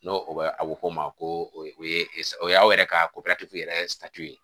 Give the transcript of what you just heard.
N'o bɛ a bɛ ko ma ko o ye sa o y'aw yɛrɛ ka yɛrɛ ye